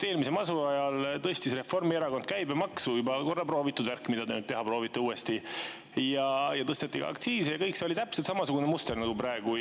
Eelmise masu ajal tõstis Reformierakond käibemaksu – juba korra proovitud värk, mida te uuesti teha proovite –, tõstis ka aktsiise ja kõik see toimus täpselt samasuguse mustri järgi nagu praegu.